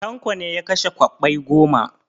Tanko ne ya kashe kwabbai goma.